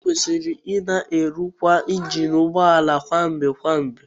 Ekwesịrị ịna erụkwa injin ụgbọ ala kwa mgbe kwa mgbe